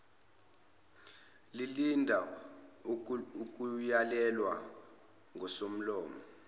lilinda ukuyalelwa ngusomlomo